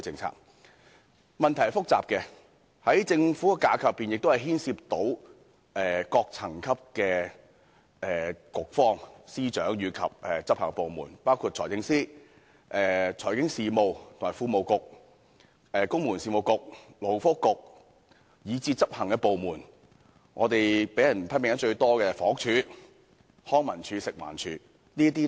這個問題是複雜的，在政府架構內亦牽涉各層級的局方、司長及執法部門，包括財政司司長、財經事務及庫務局、公務員事務局、勞工及福利局，以至執行的部門，包括被批評得最多的房屋署、康樂及文化事務署及食物環境衞生署。